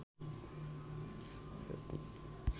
চিত্রকল্প এঁকেছেন শব্দে